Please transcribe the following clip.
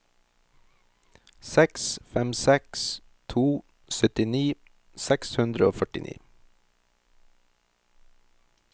seks fem seks to syttini seks hundre og førtini